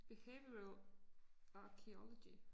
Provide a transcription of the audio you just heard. Behavioral archeology